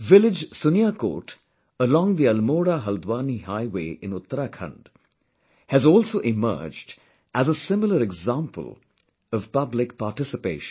Village Suniyakot along the AlmoraHaldwani highway in Uttarakhand has also emerged as a similar example of public participation